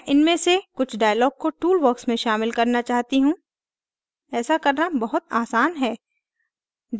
मैं इनमें से कुछ dialogs को toolbox में शामिल करना चाहती हूँ ऐसा करना बहुत आसान है